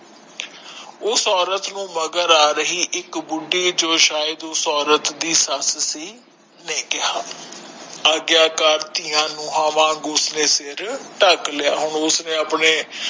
ਉਸ ਔਰਤ ਨੂੰ ਮਗਰ ਆ ਰਹੀ ਇਕ ਬੁਢੀ ਜੋ ਸ਼ਇਦ ਉਸ ਔਰਤ ਦੀ ਸੱਸ ਸੀ ਨੇ ਕੇਹਾ ਆਗਿਆਕਾਰ ਧੀਆਂ ਨੂੰ ਠ੍ਕ ਲੇਯਾ ਉਸ ਨੇ ਆਪਣੇ